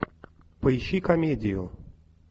поищи комедию